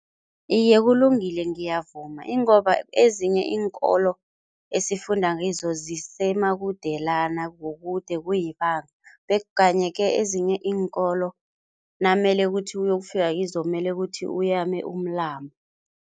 Iye, kulungile ngiyavuma, ingomba ezinye iinkolo esifundakizo zisemakudelana, kukude kuyibanga kanye-ke ezinye iinkolo namele kuthi uyokufika kizo mele kuthi uyame umlambo.